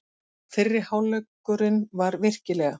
Fyrri hálfleikurinn var virkilega.